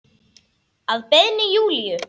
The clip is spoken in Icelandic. Að beiðni Júlíu.